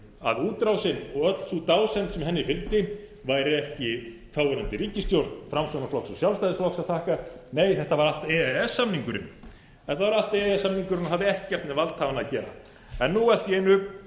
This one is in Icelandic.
að útrásin og öll sú dásemd sem henni fylgdi væri ekki þáverandi ríkisstjórn framsóknarflokks og sjálfstæðisflokks að þakka nei þetta var allt e e s samningurinn og hafði ekkert með valdhafana að gera en nú allt í einu kannast menn ekki